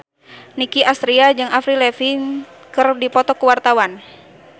Nicky Astria jeung Avril Lavigne keur dipoto ku wartawan